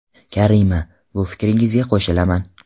Karima :– Bu fikringizga qo‘shilaman.